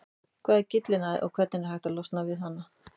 Hvað er gyllinæð og hvernig er hægt að losna við hana?